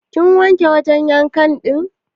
Kin wanke wajan yanka din?